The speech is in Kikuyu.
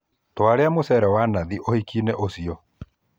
Twarĩa mũcere wa nathi ũhiki-inĩ ũcio